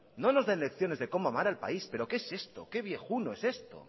no nos den lecciones de como amar al país pero qué es esto que viejuno es esto